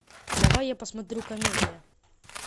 давай я посмотрю комедия